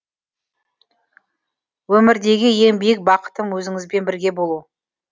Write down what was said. өмірдегі ең биік бақытым өзіңізбен бірге болу